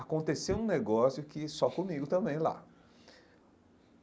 Aconteceu um negócio que só comigo também lá.